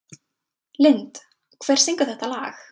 Lind, hver syngur þetta lag?